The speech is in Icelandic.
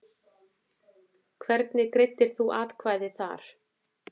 Hvernig greiddir þú atkvæði þar?